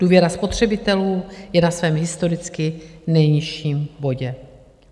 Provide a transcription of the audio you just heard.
Důvěra spotřebitelů je na svém historicky nejnižším bodě.